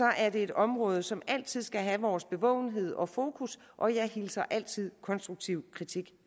er det et område som altid skal have vores bevågenhed og fokus og jeg hilser altid konstruktiv kritik